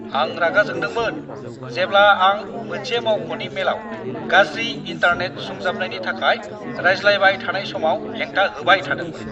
आं रागा जोंदोंमोन जेब्ला आं मोनसे मावख'नि मेलाव गाज्रि इन्टारनेट सुंजाबनायनि थाखाय रायज्लायबाय थानाय समाव हेंथा होबाय थादोंमोन।